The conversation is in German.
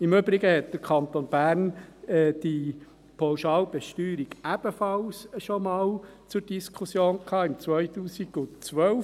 Im Übrigen stand die Pauschalbesteuerung im Kanton Bern ebenfalls einmal zur Diskussion, im Jahr 2012.